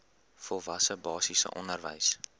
volwasse basiese onderwys